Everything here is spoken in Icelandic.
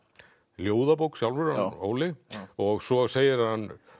ljóðabók sjálfur hann Óli svo segir hann